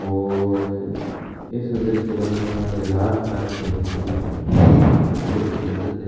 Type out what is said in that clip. और इस दृश्य बनाने वाले का हाथ काट देना चाहिए और बहोत ही सुंदर दृ --